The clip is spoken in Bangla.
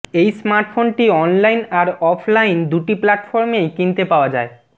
এই স্মার্টফোনটি অনলাইন আর অফলাইন দুটি প্ল্যাটফর্মেই কিনতে পাওয়া যায়